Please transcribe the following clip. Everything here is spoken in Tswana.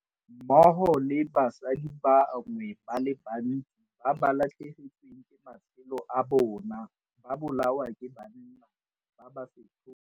mmogo le basadi ba bangwe ba le bantsi ba ba latlhegetsweng ke matshelo a bona ba bolawa ke banna ba ba setlhogo.